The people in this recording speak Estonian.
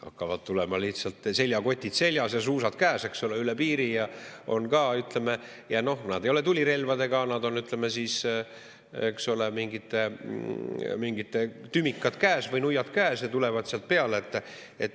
Hakkavad tulema lihtsalt, seljakotid seljas ja suusad käes, üle piiri ja, ütleme, nad ei ole tulirelvadega, neil on, ütleme siis, eks ole, mingid tümikad käes või nuiad käes ja tulevad sealt peale.